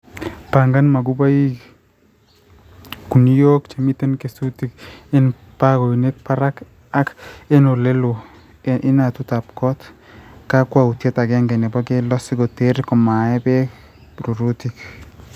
pangan mabugoik/guniok chemiten kesutik en baoinik parak ak en oleloo en inatutab koot. kakwautiet agenge nebo keldo sikoteer komaee beek rurutik.